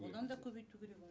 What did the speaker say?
одан да көбейту керек оны